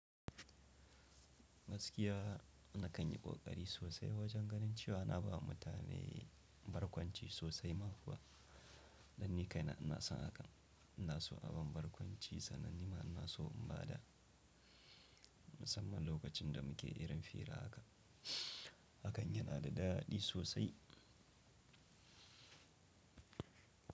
Gaskiya na kan yi ƙoƙari sosai wajen ganin cewa na ba mutane barkwanci sosai ma kuwa, dan ni kai na ina son haka, ina so abun barkwanci sanannima, ina so in ba da, musamman lokacin da muke irin fira haka. Hakan yana da daɗi sosai.